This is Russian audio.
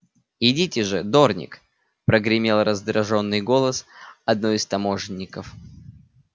идите же дорник прогремел раздражённый голос одного из таможенников